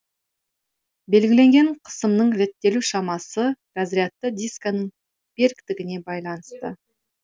белгіленген қысымның реттелу шамасы разрядты дисканың беріктігіне байланысты